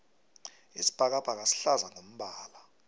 isibhakabhaka sihlaza ngombala